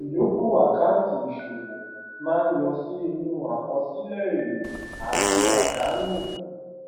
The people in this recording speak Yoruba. ìyòókù àkáǹtì ìṣòwò máa ń lọ sí inú àkọsílẹ èrè àti àdánù